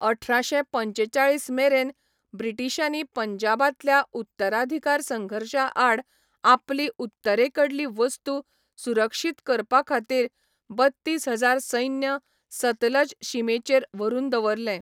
अठराशे पंचेचाळीस मेरेन ब्रिटिशांनी पंजाबांतल्या उत्तराधिकार संघर्शाआड आपली उत्तरेकडली वस्तू सुरक्षीत करपाखातीर बत्तीस हजार सैन्य सतलज शिमेचेर व्हरून दवरले.